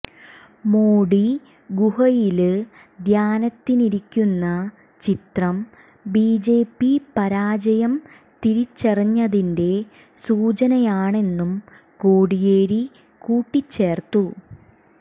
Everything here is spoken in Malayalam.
മോഡി ഗുഹയില് ധ്യാനത്തിനിരിക്കുന്ന ചിത്രം ബിജെപി പരാജയം തിരിച്ചറിഞ്ഞതിന്റെ സൂചനയാണെന്നും കോടിയേരി കൂട്ടിച്ചേര്ത്തു